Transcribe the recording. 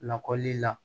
Lakɔli la